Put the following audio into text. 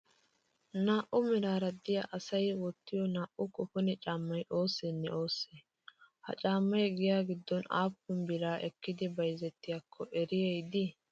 Naa'u meraara diya asayi wottiyoo naa''u koponee caammayi oosseene oossee? Ha caammayi giyaa gddon aappun biraa ekkidi bayizettiyaakko eriyayi dii?